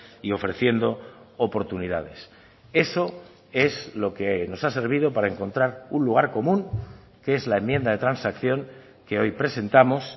y ofreciendo oportunidades eso es lo que nos ha servido para encontrar un lugar común que es la enmienda de transacción que hoy presentamos